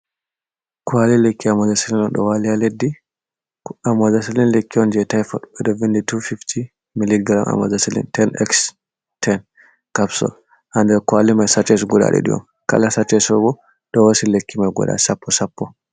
Kwaali lekki ammozasilin do wali ha leddi, ammozasalin lekki on je tifod ɓeɗo vindi tufifti mili garam ammozaselin ten ex ten capsul ha nder kwaali mai saches guda ɗiɗi on kala saches fu ɗo hosa lekki mai guda sappo sappo.